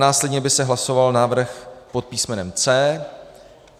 Následně by se hlasoval návrh pod písm. C.